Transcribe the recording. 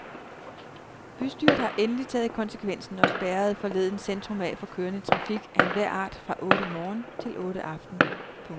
Bystyret har endelig taget konsekvensen og spærrerede forleden centrum af for kørende trafik af enhver art fra otte morgen til otte aften. punktum